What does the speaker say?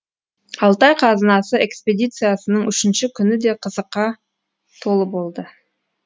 алтай қазынасы экспедициясының үшінші күні де қызыққа толы болды